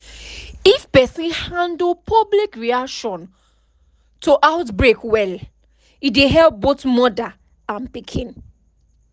if person handle public reaction to outbreak welle dey help both mother and pikin